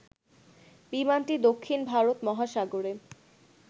বিমানটি দক্ষিণ ভারত মহাসাগরে